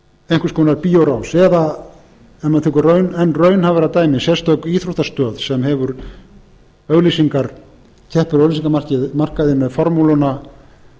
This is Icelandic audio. konar bíórás eða ef maður tekur enn raunhæfara dæmi sérstök íþróttastöð sem hefur auglýsingar keppir á auglýsingamarkaði með formúluna